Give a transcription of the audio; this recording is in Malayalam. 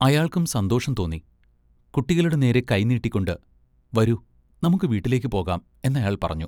അയാൾക്കും സന്തോഷം തോന്നി. കുട്ടികളുടെ നേരെ കൈനീട്ടിക്കൊണ്ട് വരൂ, നമുക്ക് വീട്ടിലേക്ക് പോകാം എന്നയാൾ പറഞ്ഞു.